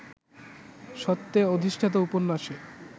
সত্যে অধিষ্ঠাতা উপন্যাসে